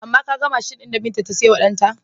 Amma ka ga mashin ɗin da Binta ta saiwa ɗanta?